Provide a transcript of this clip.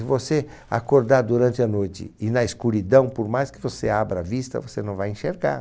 Se você acordar durante a noite e na escuridão, por mais que você abra a vista, você não vai enxergar.